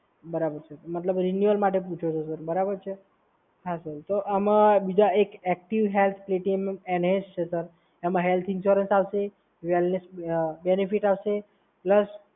બરાબર છે. મતલબ રિન્યુઅલ માટે પૂછો છો સર, બરાબર? હા સર તો આમાં બીજા એક ઍક્ટિવ હેલ્થ પ્લેટિનમ એનહેન્સ છે સર. એમાં હેલ્થ ઇન્સ્યુરન્સ આવશે, વેલનેસ બેનિફિટ આવશે પ્લસ